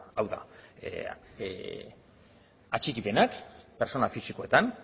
hau da atxikipenak pertsona fisikoetan